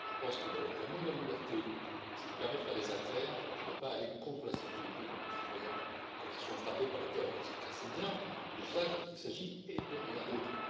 Je pense que l'amour de la liberté et ce qui permet de faire des affaires ne doit pas aller contre la sécurité de nos concitoyens quand ils sont frappés par le terrorisme, car c'est bien de cela qu'il s'agit et de rien d'autre.